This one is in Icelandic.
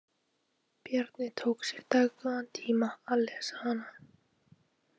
Bjarni tók sér dágóðan tíma til að lesa hana.